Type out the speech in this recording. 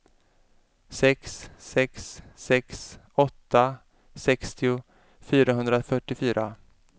sex sex sex åtta sextio fyrahundratrettiofyra